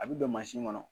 A bi don mansin kɔnɔ